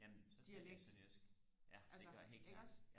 jamen så taler jeg sønderjysk ja det gør jeg helt klart